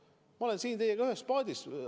Ma olen siin teiega ühes paadis.